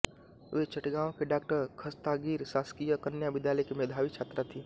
वे चटगाँव के डॉ खस्तागिर शासकीय कन्या विद्यालय की मेघावी छात्रा थीं